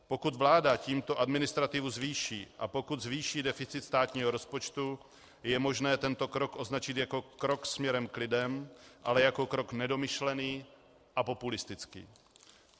Pokud vláda tímto administrativu zvýší a pokud zvýší deficit státního rozpočtu, je možné tento krok označit jako krok směrem k lidem, ale jako krok nedomyšlený a populistický.